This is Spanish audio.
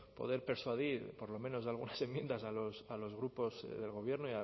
poder persuadir por lo menos algunas enmiendas a los grupos del gobierno